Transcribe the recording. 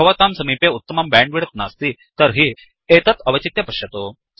यदि भवतां समीपे उत्तमं बैण्डविड्थ नास्ति तर्हि एतत् अवचित्य पश्यतु